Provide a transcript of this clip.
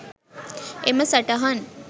එම සටහන්